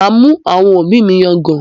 Màá mú àwọn òbí mi yangàn